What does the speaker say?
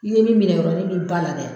I ye min minɛ ba la dɛ